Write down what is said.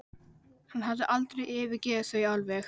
Hann hafði aldrei yfirgefið þau alveg.